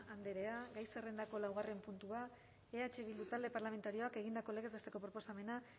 andrea gai zerrendako laugarren puntua eh bildu talde parlamentarioak egindako legez besteko proposamena